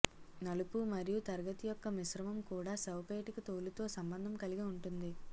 నలుపు మరియు తరగతి యొక్క మిశ్రమం కూడా శవపేటిక తోలు తో సంబంధం కలిగి ఉంటుంది